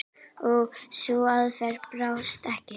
Og sú aðferð brást ekki.